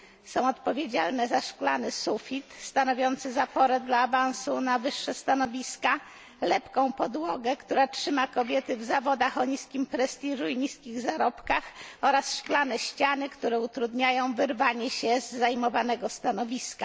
są one odpowiedzialne za szklany sufit stanowiący zaporę dla awansu na wyższe stanowiska, lepką podłogę, która trzyma kobiety w zawodach o niskim prestiżu i niskich zarobkach, oraz szklane ściany, które utrudniają wyrwanie się z zajmowanego stanowiska.